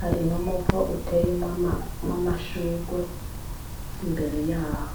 hari n'umuvo uteye wmwo amashurwe imbere yaho.